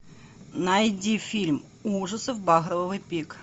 найди фильм ужасов багровый пик